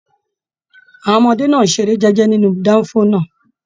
Àwọn ọmọdé náà n ṣeré jẹjẹ nínú danfo náà.